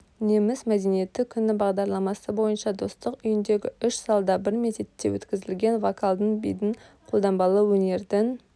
неміс мәдениеті күні бағдарламасы бойынша достық үйіндегі үш залда бір мезетте өткізілген вокалдың бидің қолданбалы өнердің